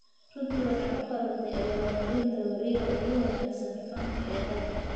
Runtii waxay u qalantay abaal-marinta wariyaha ugu wanaagsan fanka ee dalka.